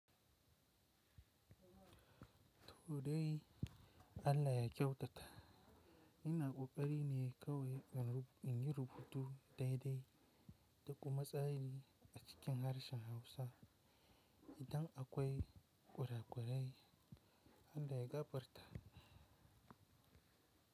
To dai Allah ya kyautata, ina ƙoƙari ne kawai in yi rubutu daidai da kuma tsari a cikin harshen Hausa idan akwai ƙware-ƙware Allah ya ga barta.